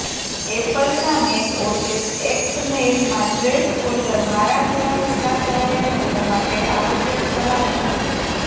એપલના Mac OS X મેઇલમાં trash folder મારા જેવા છૂટાછવાયા લોકો માટે આવશ્યક સલામતી છે